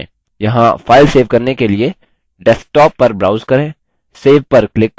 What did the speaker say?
यहाँ file save करने के desktop पर browse करें save पर click करें